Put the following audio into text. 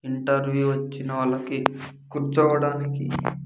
Interview వచ్చిన వాళ్ళకి కూర్చోవడానికి.